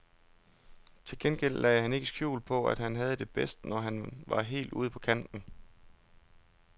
Til gengæld lagde han ikke skjul på, at han havde det bedst, når han var helt ude på kanten.